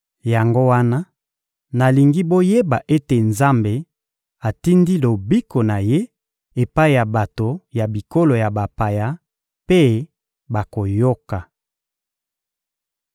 Yango wana nalingi boyeba ete Nzambe atindi lobiko na Ye epai ya bato ya bikolo ya bapaya mpe bakoyoka